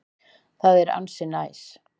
Það er ansi næs.